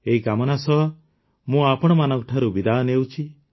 ଏହି କାମନା ସହ ମୁଁ ଆପଣମାନଙ୍କଠାରୁ ବିଦାୟ ନେଉଛି